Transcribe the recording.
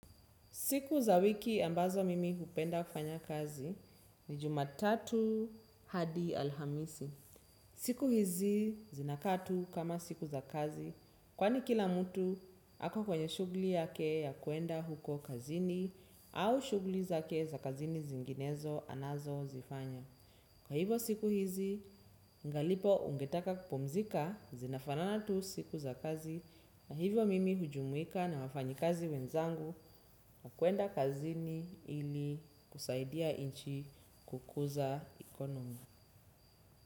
Siku za wiki ambazo mimi hupenda kufanya kazi ni jumatatu hadi alhamisi. Siku hizi zinaka tu kama siku za kazi kwani kila mtu hako kwenye shugli yake ya kuenda huko kazini au shugli zake za kazini zinginezo anazo zifanya. Kwa hivyo siku hizi, ningalipo ungetaka kupomzika zinafanana tu siku za kazi na hivyo mimi hujumuika na wafanyi kazi wenzangu na kuenda kazini ili kusaidia inchi kukuza ekonomi.